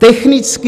Technicky...